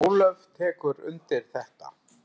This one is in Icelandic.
Ólöf tekur undir þetta.